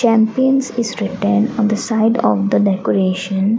champions is written on the side of the decoration.